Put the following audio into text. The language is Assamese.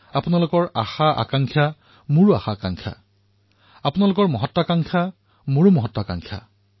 আপোনালোকৰ আকাংক্ষা মোৰ আকাংক্ষা আপোনালোকৰ মহত্বকাংক্ষা মোৰ মহত্বকাংক্ষা